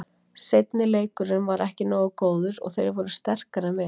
Seinni leikurinn var ekki nógu góður og þeir voru sterkari en við.